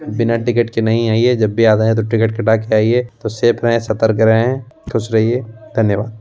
बिना टिकट के नहीं आइए जब भी आना है तो टिकट कटा के आइए तो सेफ रहें सतर्क रहें खुश रहिए धन्यवाद।